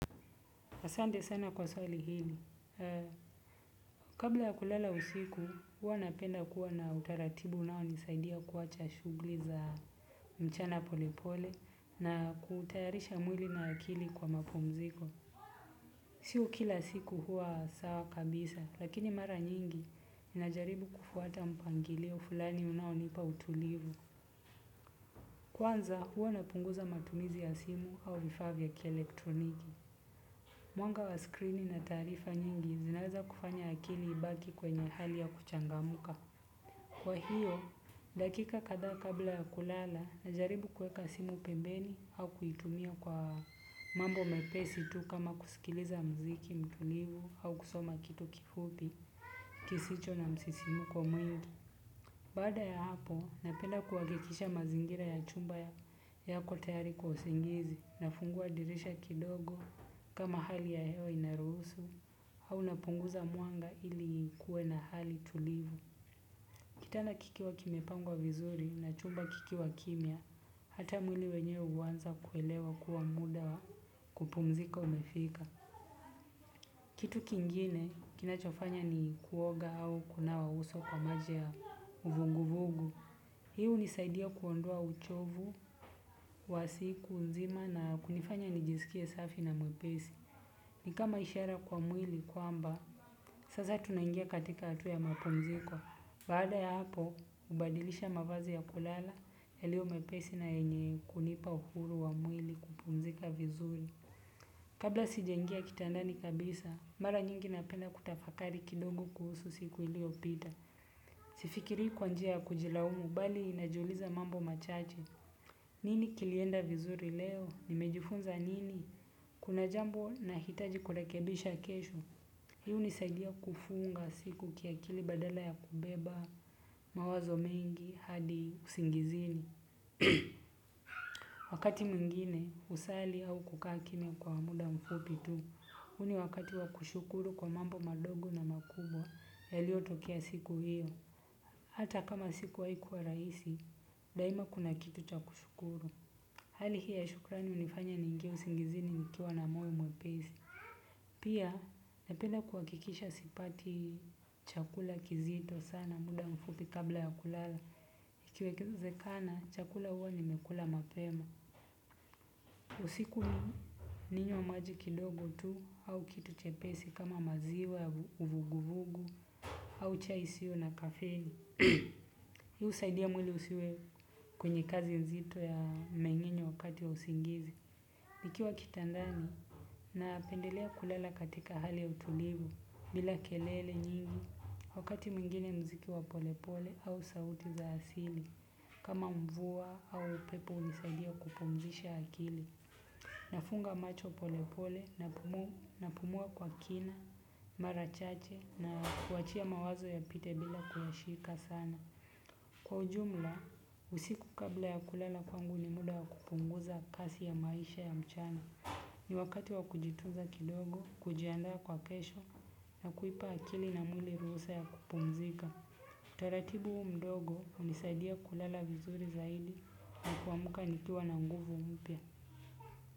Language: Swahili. Asande sana kwa swali hili, kabla ya kulala usiku, hua napenda kuwa na utaratibu nao nisaidia kuwacha shugli za mchana polepole na kutayarisha mwili na akili kwa mapumziko. Sio kila siku huwa sawa kabisa lakini mara nyingi najaribu kufuata mpangilio fulani unaonipa utulivu. Kwanza hua napunguza matumizi ya simu au vifaa vya kielektroniki. Mwanga wa screeni na taarifa nyingi zinaza kufanya akili ibaki kwenye hali ya kuchangamuka. Kwa hiyo, dakika kadha kabla ya kulala na jaribu kueka simu pembeni au kuitumia kwa mambo mepesi tu kama kusikiliza mziki mtulivu au kusoma kitu kifupi kisicho na msisimuko mwingi. Baada ya hapo, napenda kuwakekisha mazingira ya chumba ya kwa tayari kwa usingizi, nafungua dirisha kidogo kama hali ya hewa inarusu, au napunguza mwanga ili kuwe na hali tulivu. Kitana kikiwa kimepangwa vizuri na chumba kikiwa kimya, hata mwili wenye uwanza kuelewa kuwa muda kupumzika umefika. Kitu kingine kinachofanya ni kuoga au kunawa uso kwa maja ya uvunguvugu. Hiu nisaidia kuondoa uchovu, wa siku, nzima na kunifanya nijisikie safi na mwepesi. Ni kama ishara kwa mwili kwamba, sasa tunangia katika hatua ya mapumziko. Baada ya hapo, ubadilisha mavazi ya kulala, ilio mwepesi na yenye kunipa uhuru wa mwili kupunzika vizuri. Kabla sijaingia kitandani kabisa, mara nyingi napenda kutafakari kidogo kuhusu siku ilio pita. Sifikiri kwa njia kujilaumu bali inajuliza mambo machache. Nini kilienda vizuri leo? Nimejifunza nini? Kuna jambo nahitaji kurekebisha kesho. Hii unisaidia kufunga siku kiakili badala ya kubeba, mawazo mengi, hadi usingizini. Wakati mwingine, usali au kukaa kimya kwa hamuda mfupi tu. Uni wakati wakushukuru kwa mambo madogo na makubwa, yalio tokea siku hiyo. Hata kama siku haikuwa raisi, daima kuna kitu cha kushukuru. Hali hiyo ya shukrani unifanya ningie singizini nikiwa na moyo mwepesi. Pia, nependa kuwakikisha sipati chakula kizito sana, muda mfupi kabla ya kulala. Ikiwezekana chakula huwa nimekula mapema. Usiku ninywe maji kidogo tu, au kitu chepesi kama maziwa, uvuguvugu, au chai isio na kafeni. Hiu usaidia mwili usiwe kwenye kazi nzito ya mengenyo wakati usingizi. Nikiwa kitandani napendelea kulela katika hali utulivu. Bila kelele nyingi wakati mwingine mziki wa polepole au sauti za asili. Kama mvua au upepo nisaidia kupumzisha akili. Nafunga macho polepole napumua kwa kina, marachache na kuachia mawazo yapite bila kuyashika sana. Kwa ujumla, usiku kabla ya kulala kwangu ni muda ya kupunguza kasi ya maisha ya mchana. Ni wakati wa kujitunza kidogo, kujiandaa kwa kesho na kuipa akili na mwili ruhusa ya kupumzika. Utaratibu mdogo unisaidia kulala vizuri zaidi na kuamuka nikiwa na nguvu mpya.